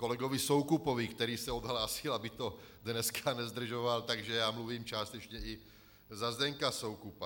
Kolegovi Soukupovi, který se odhlásil, aby to dneska nezdržoval, takže já mluvím částečně i za Zdeňka Soukupa.